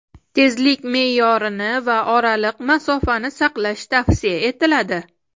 tezlik me’yorini va oraliq masofani saqlash tavsiya etiladi.